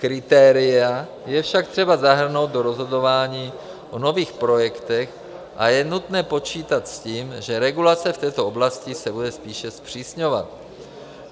Kritéria je však třeba zahrnout do rozhodování o nových projektech a je nutné počítat s tím, že regulace v této oblasti se bude spíše zpřísňovat.